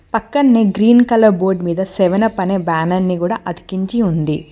పక్కనే green colour board మీద seven up అనే బ్యానర్ ని కూడా అతికించి ఉంది.